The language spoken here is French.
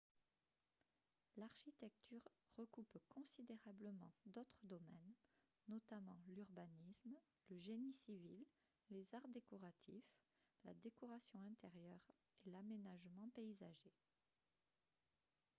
l'architecture recoupe considérablement d'autres domaines notamment l'urbanisme le génie civil les arts décoratifs la décoration intérieure et l'aménagement paysager